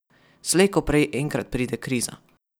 Slej ko prej enkrat pride kriza.